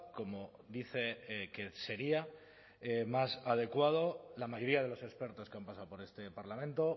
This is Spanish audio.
como dice que sería más adecuado la mayoría de los expertos que han pasado por este parlamento